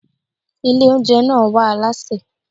Ilé oúnjẹ náà wá alásè.